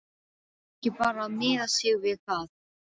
Steypt í báðum vélum eftir hádegi.